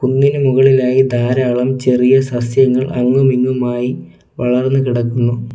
കുന്നിന് മുകളിലായി ധാരാളം ചെറിയ സസ്യങ്ങൾ അങ്ങും ഇങ്ങുമായി വളർന്നു കിടക്കുന്നു.